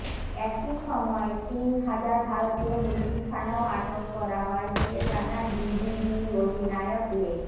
একই সময় তিন হাজার ভারতীয় মুরগির ছানাও আটক করা হয় বলে জানান বিজিবি অধিনায়ক লে